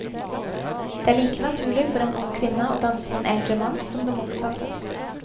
Det er like naturlig for en ung kvinne å danse med en eldre mann som det motsatte.